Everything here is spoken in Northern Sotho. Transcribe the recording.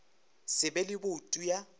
se be le boutu ya